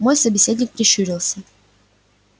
мой собеседник прищурился